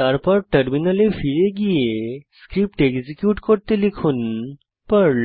তারপর টার্মিনালে ফিরে গিয়ে স্ক্রিপ্ট এক্সিকিউট করতে লিখুন পার্ল